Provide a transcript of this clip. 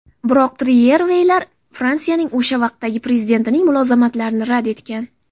Biroq Triyerveyler Fransiyaning o‘sha vaqtdagi prezidentining mulozamatlarini rad etgan.